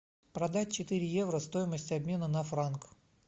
продать четыре евро стоимость обмена на франк